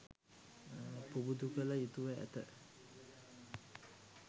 පුබුදු කළ යුතුව ඇත.